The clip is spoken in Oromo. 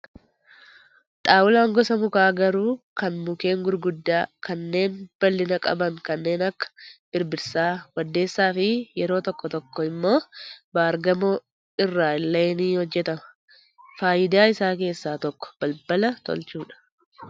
Xaawulaan gosa mukaa garuu kan mukkeen gurguddaa kanneen bal'ina qaban kanneen akka birbirsaa, waddeessaa fi yeroo tokko tokko immoo baargamoon irraa illee ni hojjatama. Fayidaa isaa keessaa tokko balbala tolchuudha.